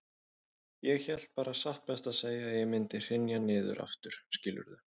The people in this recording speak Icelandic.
Ég hélt bara satt best að segja að ég mundi hrynja niður aftur, skilurðu.